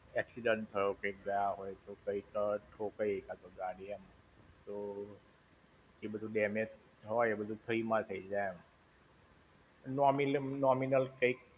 Accident થયો હોય કંઈ ગયા હોય તો, કઈંક ઠોકાઈ હોય કા તો ગાડી એમ. તો, એ બધું damage હોય એ બધું free માં થઇ જાય, એમ. N કઈંક.